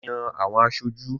Wọ́n Yan àwọn aṣojú.